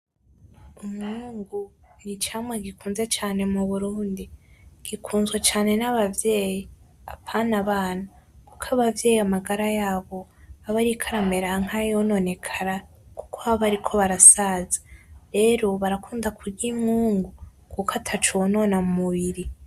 Umwungu ni icamwa gikunzwe cane mu Burundi, gikunzwe cane n'abavyeyi apana abana kuko abavyeyi amagara yabo abariko aramera nk'ayononekara kuko baba bariko barasaza, rero barakunda kurya umwungu kuko ataco wonona mu mubiri.